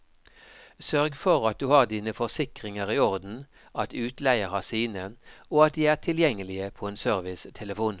Sørg for at du har dine forsikringer i orden, at utleier har sine, og at de er tilgjengelige på en servicetelefon.